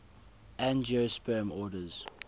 angiosperm orders